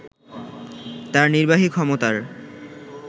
তার নির্বাহী ক্ষমতার